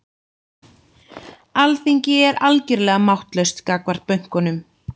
Alþingi er algjörlega máttlaust gagnvart bönkunum